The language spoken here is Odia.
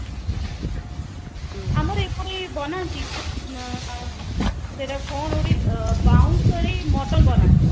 ଆମର ଏପଟେ ବନାନ୍ତି ଉଁ ସେଟାକୁ କଣ ଗୋଟେ ବାଉଁଶ ରେ mutton ବନାନ୍ତି